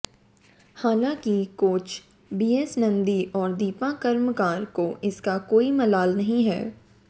हालांकि coach B S Nandi और दीपा कर्मकार को इसका कोई मलाल नहीं है